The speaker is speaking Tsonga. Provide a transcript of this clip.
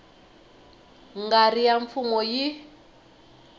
nga ri ya mfumo yi